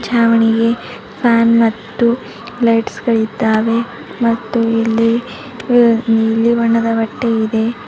ಛಾವಣಿಗೆ fan ಮತ್ತು lights ಗಳಿದ್ದಾವೆ ಮತ್ತು ಇಲ್ಲಿ ಹ್ ಬಿಳಿ ಬಣ್ಣದ ಬಟ್ಟೆ ಇದೆ.